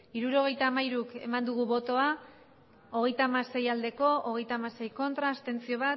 hirurogeita hamairu eman dugu bozka hogeita hamasei bai hogeita hamasei ez bat abstentzio